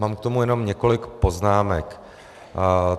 Mám k tomu jenom několik poznámek.